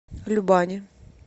любани